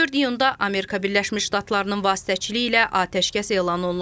24 iyunda Amerika Birləşmiş Ştatlarının vasitəçiliyi ilə atəşkəs elan olunub.